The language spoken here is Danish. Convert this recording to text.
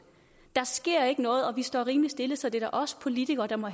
der sker ikke noget og vi står rimelig stille så det er da os politikere der må